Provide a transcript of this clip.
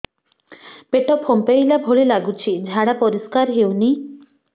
ପେଟ ଫମ୍ପେଇଲା ଭଳି ଲାଗୁଛି ଝାଡା ପରିସ୍କାର ହେଉନି